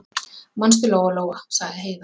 Manstu, Lóa-Lóa, sagði Heiða.